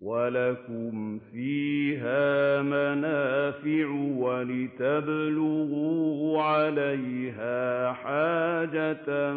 وَلَكُمْ فِيهَا مَنَافِعُ وَلِتَبْلُغُوا عَلَيْهَا حَاجَةً